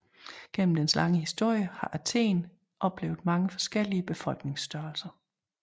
Gennem dens lange historie har Athen oplevet mange forskellige befolkningsstørrelser